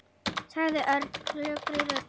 sagði Örn klökkri röddu.